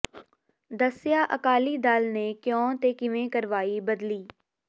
ਦੱਸਿਆ ਅਕਾਲੀ ਦਲ ਨੇ ਕਿਉਂ ਤੇ ਕਿਵੇਂ ਕਰਵਾਈ ਬਦਲੀ